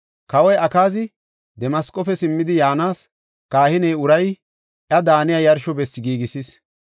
Kawoy Akaazi Damasqofe simmidi yaanas, kahiney Urayi iya daaniya yarsho bessi giigisis.